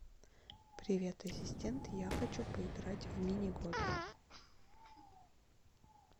привет ассистент я хочу поиграть в мини гольф